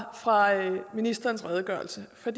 ministerens redegørelse for